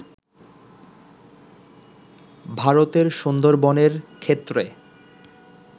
ভারতের সুন্দরবনের ক্ষেত্রে